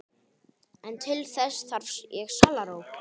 En til þess þarf ég sálarró!